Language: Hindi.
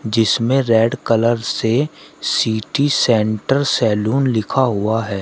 जिसमें रेड कलर से सिटी सेंटर सैलून लिखा हुआ है।